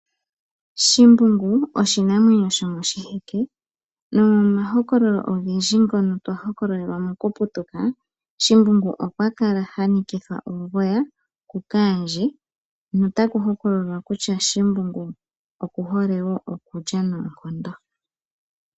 Shimbungu oshinamwenyo shomoshiheke nomomahokololo ogendji ngono twa hokololelwa mokuputuka shimbungu okwa kala hanikithwa uugoya kukaandje notaku hokololwa kutya shimbungu okuhole okulya noonkondo.